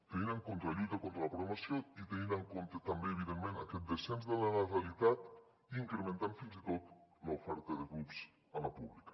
tenint en compte la lluita contra la segregació i tenint en compte també evidentment aquest descens de la natalitat incrementant fins i tot l’oferta de grups a la pública